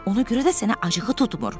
Ona görə də sənə acığı tutmur.